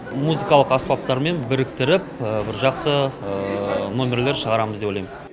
музыкалық аспаптармен біріктіріп бір жақсы номерлер шығарамыз деп ойлаймын